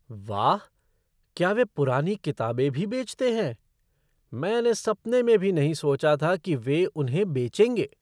वाह! क्या वे पुरानी किताबें भी बेचते हैं। मैंने सपने में भी नहीं सोचा था कि वे उन्हें बेचेंगे।